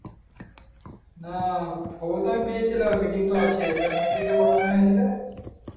হ্যাঁ খবরটা আমি পেয়েছিলাম meeting টা আছে meeting টা কটার সময় আছে রে